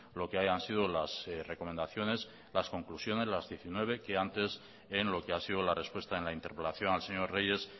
lo que hayan sido las recomendaciones las conclusiones las diecinueve que antes en lo que ha sido la respuesta en la interpelación al señor reyes